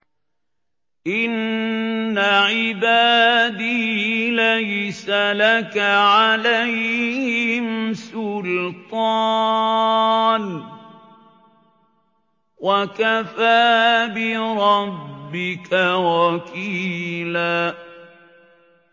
إِنَّ عِبَادِي لَيْسَ لَكَ عَلَيْهِمْ سُلْطَانٌ ۚ وَكَفَىٰ بِرَبِّكَ وَكِيلًا